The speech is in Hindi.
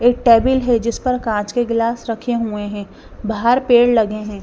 एक टेबल है जिस पर कांच के गिलास रखे हुए हैं बाहर पेड़ लगे हैं।